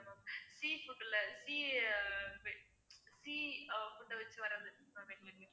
sea food ல sea ஆஹ் sea food வச்சி வர்றது ma'am எங்களுக்கு